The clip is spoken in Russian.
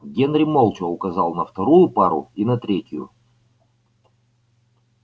генри молча указал на вторую пару и на третью